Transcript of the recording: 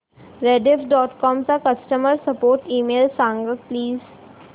Rediff dot com चा customer support email सांग please